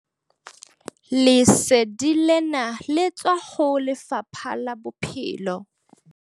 Lesedi lena le tswa ho Lefapha la Bophelo.